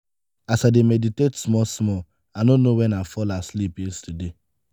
as i dey meditate small small i no know wen i fall asleep yesterday.